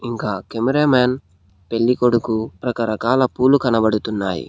ఇంకా cameraman పెళ్ళికొడుకు రకరకాల పూలు కనపడుతున్నాయి.